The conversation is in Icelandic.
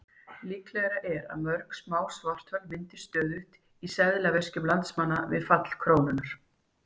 Líklegra er að mörg smá svarthol myndist stöðugt í seðlaveskjum landsmanna við fall krónunnar.